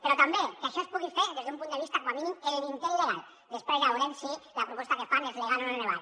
però també que això es pugui fer des d’un punt de vista com a mínim en l’intent legal després ja veurem si la proposta que fan és legal o no és legal